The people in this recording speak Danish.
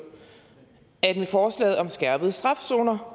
at med forslaget om skærpet straf zoner